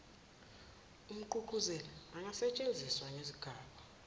umgqugquzeli angasetshenziswa ngezigaba